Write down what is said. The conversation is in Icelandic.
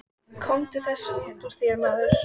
Taka að mér að veita Skagfirðingum forystu.